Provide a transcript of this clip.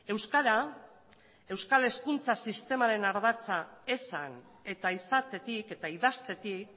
euskara euskal hezkuntza sistemaren ardatza esan eta izatetik eta idaztetik